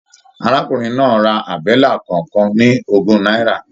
Arákùnrin náà rà àbẹ́là kọọkan ní ogún náírà.